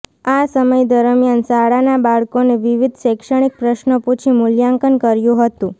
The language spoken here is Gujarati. આ સમય દરમિયાન શાળાના બાળકોને વિવિધ શૈક્ષણિક પ્રશ્નો પૂછી મુલ્યાંકન કર્યું હતું